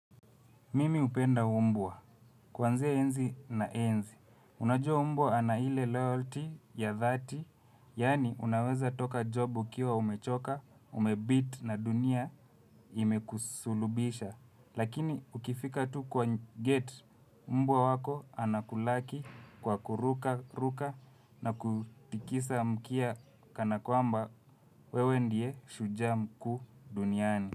Mimi hupenda mbwa. Kuanzia enzi na enzi. Unajua mbwa ana ile loyalty ya dhati, yani unaweza toka job ukiwa umechoka, umebeat na dunia imekusulubisha. Lakini ukifika tu kwa gate mbwa wako anakulaki kwa kuruka ruka na kutikisa mkia kana kwamba wewe ndiye shujaa mkuu duniani.